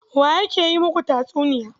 Wa yake yi muku tatsuniya?